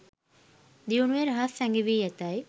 දියුණුවේ රහස් සැඟවී ඇතැයි